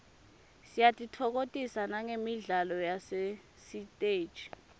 siyatitfokotisa nagemidlalo yasesiteji